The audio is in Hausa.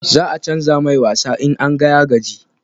Za a canja mai wasa in an ga ya gaji